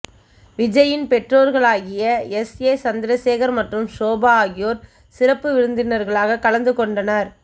விஜய்யின் பெற்றோர்களாகிய S A Chandrasekhar மற்றும் ஷோபா ஆகியோர் சிறப்பு விருந்தினர்களாக கலந்து கொண்டனர்